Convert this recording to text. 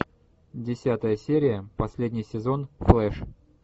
десятая серия последний сезон флэш